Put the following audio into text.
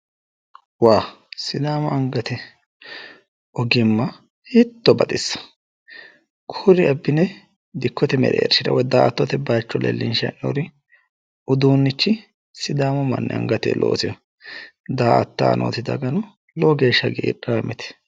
Sidaamu angate ogimma hiitto baxissawo kuri abbine dikkkote mereershira woy daa"attote bayiicho leellinshayi hee'noyiiri uduunnichi sidaamu manni angate looseyoooho daa"attayi nooti dagano lowo geeshsha hagidhaamte